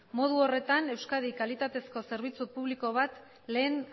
modu horretan euskadin kalitatezko zerbitzu publiko bat lehen